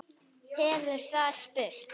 hefur það spurt.